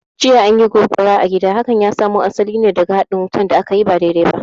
Jiya, an yi gobara a gida, hakan ya samo asali ne daga haɗin wutan da akayi ba daidai ba